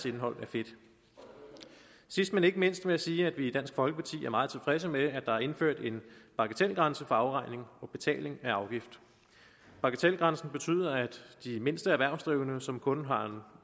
indhold af fedt sidst men ikke mindst vil jeg sige at vi i dansk folkeparti er meget tilfredse med at der er indført en bagatelgrænse for afregning og betaling af afgift bagatelgrænsen betyder at de mindste erhvervsdrivende som kun har